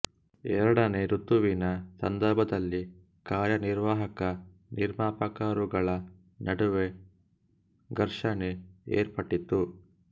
ಎರಡನೇ ಋತುವಿನ ಸಂದರ್ಭದಲ್ಲಿ ಕಾರ್ಯನಿರ್ವಾಹಕ ನಿರ್ಮಾಪಕರುಗಳ ನಡುವೆ ಘರ್ಷಣೆ ಏರ್ಪಟ್ಟಿತ್ತು